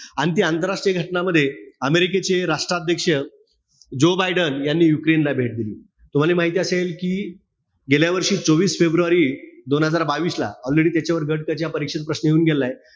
अन ती आंतरराष्ट्रीय घटनामध्ये, अमेरिकेचे राष्ट्राध्यक्ष जो बायडेन यांनी युक्रेनला भेट दिली. तुम्हाला हे माहिती असेल कि, गेल्या वर्षी चोवीस फेब्रुवारी दोन हजार बावीस ला, already त्याच्यावर गट क च्या परीक्षेत प्रश्न येऊन गेलेलाय.